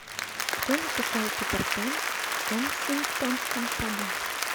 кто написал питер пэн в кенсингтонском саду